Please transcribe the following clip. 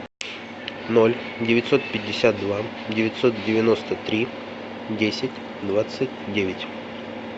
ноль девятьсот пятьдесят два девятьсот девяносто три десять двадцать девять